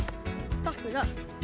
takk fyrir það